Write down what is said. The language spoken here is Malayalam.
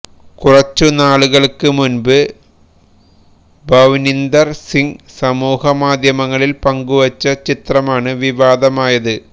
കുറച്ചു നാളുകൾക്ക് മുൻപ് ഭവ്നിന്ദര് സിംഗ് സമൂഹ മാധ്യമങ്ങളിൽ പങ്കുവച്ച ചിത്രമാണ് വിവാദമായത്